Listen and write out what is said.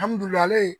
Alihamudulila